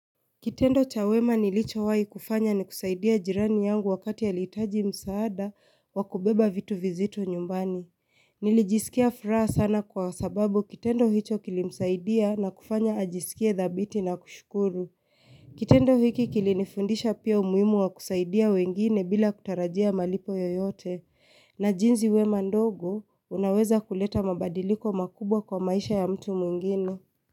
Kitendo chawema nilichowai kufanya ni kusaidia jirani yangu wakati alihitaji msaada wa kubeba vitu vizito nyumbani. Nilijisikia furaha sana kwa sababu kitendo hicho kilimsaidia na kufanya ajisikie dhabiti na kushukuru. Kitendo hiki kilinifundisha pia umuhimu wa kusaidia wengine bila kutarajia malipo yoyote. Na jinzi wema ndogo unaweza kuleta mabadiliko makubwa kwa maisha ya mtu mwingine.